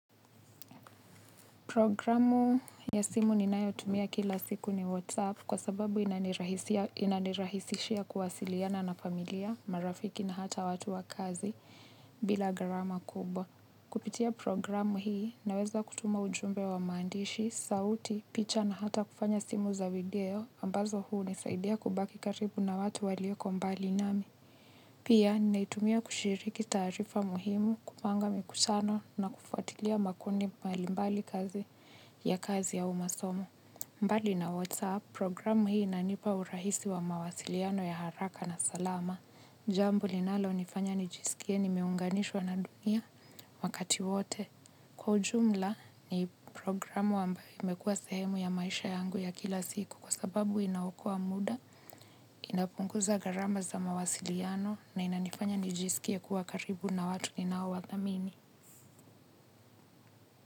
Programu ya simu ninayotumia kila siku ni WhatsApp kwa sababu inanirahisishia kuwasiliana na familia, marafiki na hata watu wa kazi bila gharama kubwa. Kupitia programu hii naweza kutuma ujumbe wa mandishi, sauti, picha na hata kufanya simu za video ambazo huu nisaidia kubaki karibu na watu walio kombali nami. Pia, naitumia kushiriki taarifa muhimu kupanga mikutano na kufuatilia makundi malimbali kazi ya kazi ya umasomo. Mbali na WhatsApp, programu hii inanipa urahisi wa mawasiliano ya haraka na salama. Jambo linalo nifanya nijisikie nimeunganishwa na dunia, wakati wote. Kwa ujumla, ni programu ambayo imekuwa sehemu ya maisha yangu ya kila siku kwa sababu inaokoa muda, inapunguza gharama za mawasiliano na inanifanya nijisikie kuwa karibu na watu ninao wa thamini.